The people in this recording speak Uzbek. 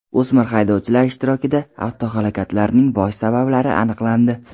O‘smir haydovchilar ishtirokidagi avtohalokatlarning bosh sabablari aniqlandi .